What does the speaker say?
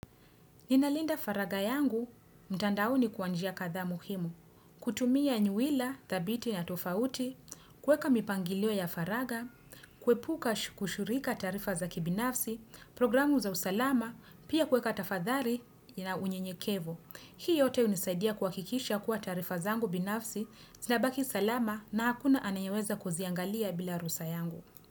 Ninalinda faragha yangu, mtandaoni kwa njia kadhaa muhimu. Kutumia nyuwila dhabiti na tofauti, kuweka mipangilio ya faraga, kuepuka shu kushurika taarifa za kibinafsi, programu za usalama, pia kuweka tafadhari ina unyenyekevu. Hii yote hunisaidia kuhakikisha kuwa taarifa zangu binafsi, zinabaki salama na hakuna anayeweza kuziangalia bila ruhusa yangu.